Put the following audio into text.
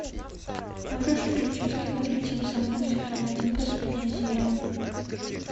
можешь включить кино летим со мной сезон один последняя серия